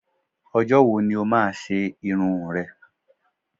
Nígbàwoni o má a ṣe irun n rẹ?